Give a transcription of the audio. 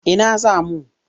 Ina za mu?